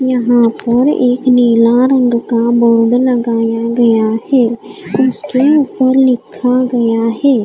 यहाँ पर एक नीला रंग का बोर्ड लगाया गया है उसके ऊपर लिखा गया है।